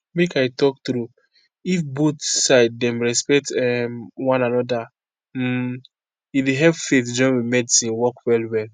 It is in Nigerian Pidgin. make i talk true if both side dem respect umm one anoda hmmm e dey help faith join with medicine work well well.